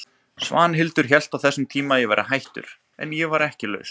Svanhildur hélt á þessum tíma að ég væri hættur, en ég var ekki laus.